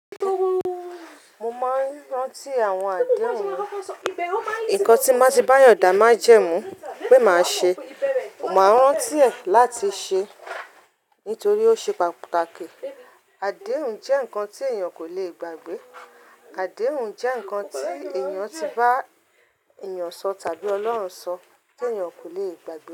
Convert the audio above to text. Mo máa ń rántí àwọn àdéhùn mi. Nǹkan tí mo bati bayan da májẹ́mú pé màá ṣe, màá rántí ẹ̀ láti ṣe nítorí ó ṣe pàtàkì. Àdéhùn jẹ́ ǹkan tí èèyàn kò lè gbàgbé. Àdéhùn jẹ́ ǹkan tí èèyàn ti bá èèyàn sọ tàbí Ọlọ́run sọ tí èèyàn kò lè gbàgbé.